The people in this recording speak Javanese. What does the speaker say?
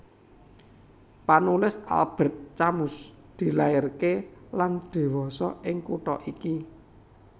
Panulis Albert Camus dilairaké lan dhiwasa ing kutha iki